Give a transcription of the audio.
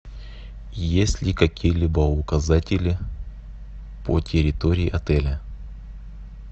есть ли какие либо указатели по территории отеля